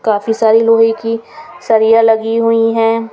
काफी सारी लोहे की सरियां लगी हुई हैं.